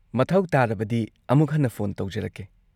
ꯃꯊꯧ ꯇꯥꯔꯕꯗꯤ ꯑꯃꯨꯛ ꯍꯟꯅ ꯐꯣꯟ ꯇꯧꯖꯔꯛꯀꯦ꯫